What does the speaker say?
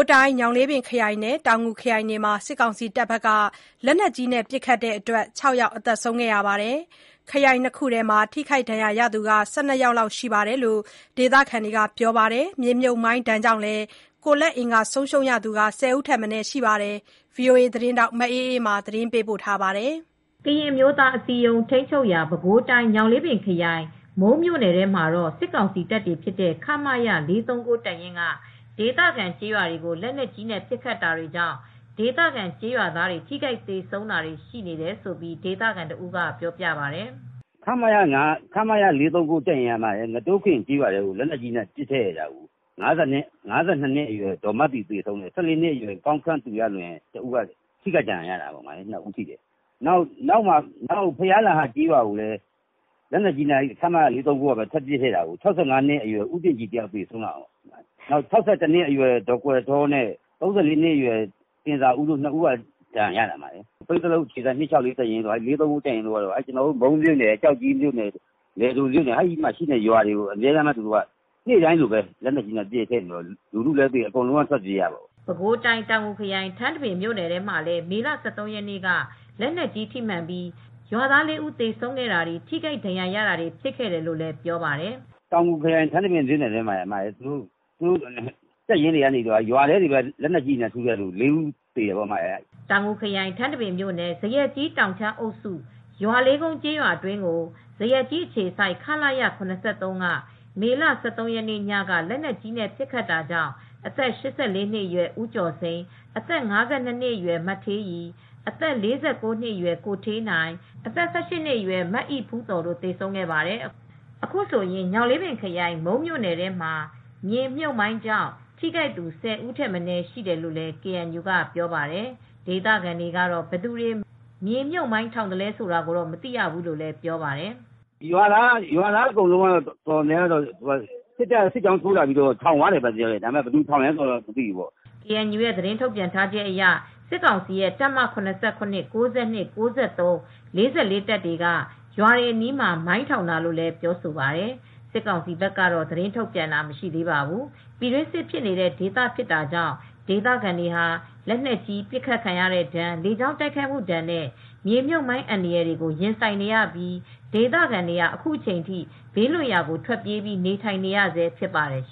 းတိုင်း ညောင်လေးပင်ခရိုင်နဲ့ တောင်ငူခရိုင်တွေမှာ စစ်ကောင်စီတပ်တွေ လက်နက်ကြီးနဲ့ပစ်လို့ ၆ ယောက် သေဆုံးခဲ့ပါတယ်။ ခရိုင် ၂ ခုထဲမှာ ထိခိုက်ဒဏ်ရာရသူကလည်း ၁၂ ယောက်ယောက်ရှိတယ်လို့ ဒေသခံတွေက ပြောပါတယ်။ မြေမြှုပ်မိုင်းကြောင့် ကိုယ်လက်အင်္ဂါဆုံးရှုံးသူတွေလည်း ၁၀ ဦးထက်မနည်းရှိပါတယ်။ ဗွီအိုအေသတင်းထောက်မအေးအေးမာကသတင်းပေးပို့ထားပါတယ်။ ကရင်အမျိုးသားအစည်းအရုံး KNU တပ်တွေရှိတဲ့ ပဲခူးတိုင်းညောင်လေးပင်ခရိုင် မုန်းမြို့နယ်ထဲမှာတော့ စစ်ကောင်စီတပ် ခမရ-၄၃၉ တပ်ရင်းက ဒေသခံကျေးရွာတွေကိုလက်နက်ကြီးတွေနဲ့ပစ်ခတ်တာကြောင့် ဒေသခံကျေးရွာသားတွေ ထိခိုက်သေဆုံးတာတွေရှိနေတယ်လို့ ဒေသခံတဦးကပြောပါတယ်။ "ခမရ-၄၃၉ တပ်ရင်းက ငတိုးခင် ကျေးရွာထဲကို လက်နက်ကြီး နဲ့ပစ်တာ အသက်၅၂ နှစ်အရွယ် ဒေါ်မသီ လက်နက်ကြီးထိမှန် သေဆုံးပြီး အသက် ၁၄ နှစ် မောင်ကောင်းခန့်သူရလွင် ထိခိုက် ဒဏ်ရာရ ပါတယ်။ နောက် စစ်တပ်ကပဲ ဘုရားလှဟကျေးရွာထဲကို ခမရ ၄၃၉ကပဲ ပစ်လို့အသက် ၆၅ နှစ် ဦးတင့်ကြည် လက်နက်ကြီး ထိမှန် သေဆုံးခဲ့တယ် ၊အသက် ၆၁ နှစ် ဒေါ်ကွယ်ထောနဲ့အသက် ၃၄ နှစ်အရွယ်ရတင်ဇာဦး တို့ ထိခိုက် ဒဏ်ရာရခဲ့ပါတယ် ။ ပိန်းဇလုပ်အခြေစိုက် ၂၆၄တပ်ရင်းတို့ ခမရ ၄၃၉တို့က ကျနော်တို့မုန်းမြို့နယ် ကျောက်ကြီးလယ်ဒိုနေရာတွေကိုနေ့စဉ်လိုပစ်နေတော့လူတွေလည်းသေရတာ ထွက်ပြေးနေရတာတွေဖြစ်နေပါတယ်" ပဲခူးတိုင်းတောင်ငူခရိုင် ထန်းတပင်မြို့နယ်ထဲမှာပဲ မေလ ၁၃ရက်နေ့က လက်နက်ကြီးထိမှန်ပြီးရွာသား ၄ဦးသေဆုံးခဲ့တာတွေ ထိခိုက်ဒဏ်ရာရတာတွေဖြစ်ခဲ့တယ်လို့လည်းပြောပါတယ်။ "တောင်ငူခရိုင်ထန်းတပင်မြို့နယ်ထဲမှာတော့ရွာတွေထဲကိုပဲလက်နက်ကြီးထုလို လူ ၄ဦးသေတယ်။ တောင်ငူခရိုင် ထန်းတပင်မြို့နယ် ဇရပ်ကြီး တောင်ခြမ်းအုပ်စု ရွာလေးကုန်းကျေးရွာ အတွင်းကို ဇရပ်ကြီးအခြေစိုက် ခလရ−၇၃ က မေလ ၁၃ရက်နေ့ညကလက်နက်ကြီးနဲ့ ပစ်ခတ်တာကြောင့် အသက်၈၄နှစ်အရွယ်ဦးကျော်စိန် အသက် ၅၂နစ်အရွယ် မ ဌေးရီ အသက် ၄၉နှစ်အရွယ် ကိုဌေးနိုင် အသက် ၁၈ နှစ်အရွယ် မအိဖူးသော်တို့သေဆုံးခဲ့ပါတယ်။" အခုဆိုရင် ညောင်လေးပင်ခရိုင်မုန်းမြို့နယ်ထဲမှာ မြေမြှုပ်မိုင်းကြောင့် ထိခိုက်သူ ၁၀ ဦးရှိတယ်လို့လည်းကေအန်ယူကပြောပါတယ် ။ဒေသခံတွေကတော့ ဘယ်သူတွေမြေမြုပ်မိုင်းထောင်သလဲဆိုတာကိုတော့ မသိရဘူးလို့ဆိုပါတယ်။ "ရွာသားအတော်များများက စစ်တပ်က စစ်ကြောင်းထိုးလာတိုင်း မိုင်းတွေထောင်တယ်လို့ပဲယူဆထားတယ် ဘယ်သူတွေထောင်သလဲဆိုတာတော့မသိဘူး။" ကေအန်ယူကသတင်းထုတ်ပြန်တာကတော့ စစ်ကောင်စီရဲ့ တပ်မ ၇၇ ၊ ၉၂ ၊ ၉၃ ၊ ၄၄တပ်တွေက ရွာတွေအနီးမှာ မိုင်းတာလို့ပြောဆိုပါတယ်။ စစ်ကောင်စီဘက်ကတော့ သတင်းထုတ်ပြန်တာမရှိသေးပါဘူး။ ပြည်တွင်းစစ်ဖြစ်နေတဲ့ဒေသဖြစ်တာကြောင့် ဒေသခံတွေဟာ လက်နက်ကြီးဒဏ် လေကြောင်းတိုက်ခိုက်မှုဒဏ်နဲ့ မြေမြုပ်မိုင်းအန္တရာယ်တွေကိုရင်ဆိုင်နေရပြီး ဒေသခံတွေဟာအခုချိန်ထိ ဘေးလွတ်ရာကိုထွက်ပြေးပြီးနေထိုင်နေရဆဲဖြစ်ပါတယ်။